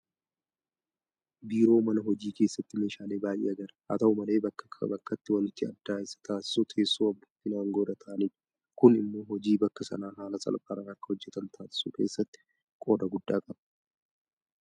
Biiroo mana hojii keessatti meeshaalee baay'ee agarra. Haata'u malee bakkaa bakkatti waanti adda isa taasisu teessoo abbootiin aangoo irra taa'anidha. Kun immoo hojii bakka sanaa haala salphaadhaan akka hojjetan taasisuu keessatti qooda guddaa qaba.